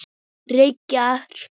Reykir þú?